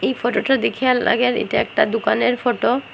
এই ফটো -টা দেখি আর লাগে এইটা একটা দোকানের ফটো ।